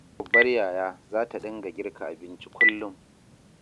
Ita kuwa babbar yaya za ta dinga girka abinci kullum.